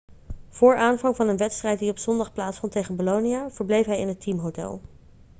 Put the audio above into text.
voor aanvang van een wedstrijd die op zondag plaatsvond tegen bolonia verbleef hij in het teamhotel